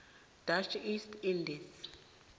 dutch east indies